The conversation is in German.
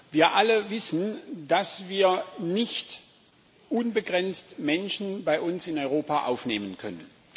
Wir alle wissen, dass wir nicht unbegrenzt Menschen bei uns in Europa aufnehmen können.